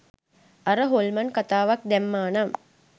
අර හොල්මන් කතාවත් දැම්මා නම්